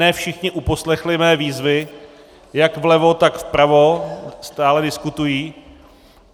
Ne všichni uposlechli mé výzvy, jak vlevo, tak vpravo, stále diskutují.